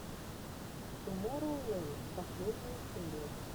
тумороу ленд последняя серия